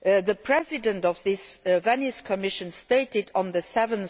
The President of this Venice Commission stated on 7